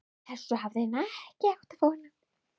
Þessu hafði hann ekki átt von á.